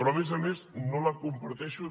però a més a més no la comparteixo